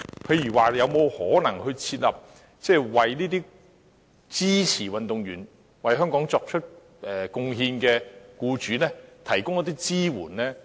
例如是否有可能向支持運動員為香港作出貢獻的僱主提供一些支援呢？